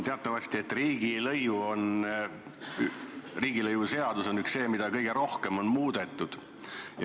Teatavasti on riigilõivuseadus see, mida on kõige rohkem muudetud.